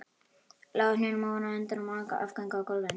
Lá á hnjánum ofan á endum og afgöngum á gólfinu.